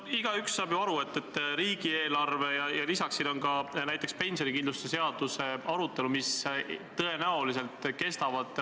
Noh, igaüks saab ju aru, et riigieelarve arutelu kestab tõenäoliselt mõnda aega, ja lisaks on siin ka pensionikindlustuse seadust puudutav eelnõu.